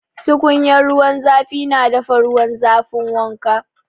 Tukunyar ruwan zafi na dafa ruwan zafin wanka.